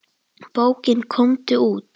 Bókin Komdu út!